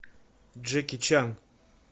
джеки чан